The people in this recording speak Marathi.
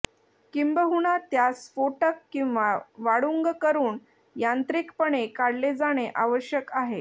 किंबहुना त्यास स्फोटक किंवा वाळूंग करून यांत्रिकपणे काढले जाणे आवश्यक आहे